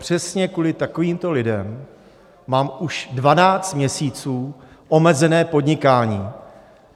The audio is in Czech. Přesně kvůli takovýmto lidem mám už 12 měsíců omezené podnikání.